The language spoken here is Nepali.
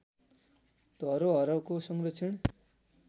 धरोहरको संरक्षण